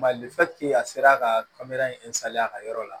Mali a sera ka a ka yɔrɔ la